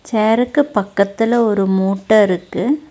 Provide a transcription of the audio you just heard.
சேர்ருக்கு பக்கத்துல ஒரு மூட்ட இருக்கு.